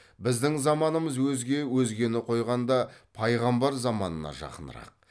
біздің заманымыз өзге өзгені қойғанда пайғамбар заманына жақынырақ